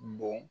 Bon